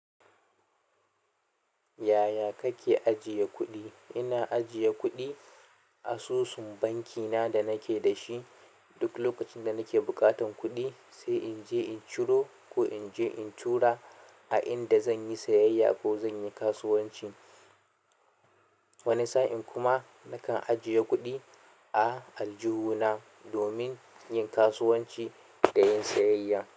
Yaya kake ajiye kuɗi? Ina ajiye kuɗi asusun banki na da nake da shi. Duk lokacin da nake buƙatan kuɗi, sai in je in ciro ko in je in tura a inda zan yi sayayya ko zan yi kasuwanci. Wani sa'in kuma nakan ajiye kuɗi a aljihuna domin yin kasuwanci da yin sayayya.